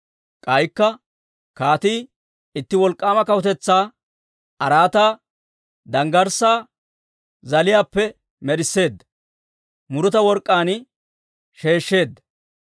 K'aykka kaatii itti wolk'k'aama kawutetsaa araataa danggarssaa zaaliyaappe med'isseedda, muruta work'k'aan sheeshsheedda.